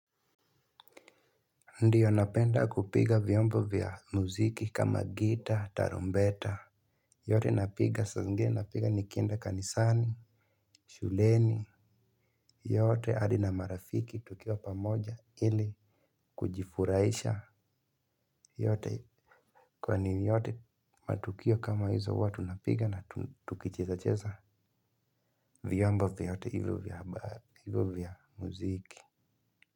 Ndiyo napenda kupiga vyombo vya muziki kama gita tarumbeta yote napiga saa zingine napiga nikenda kanisani shuleni yote hadi na marafiki tukiwa pa moja ili kujifurahisha yote kwani yote matukio kama hizo huwa tunapiga na tukicheza cheza vyombo vyote hivyo vya muziki.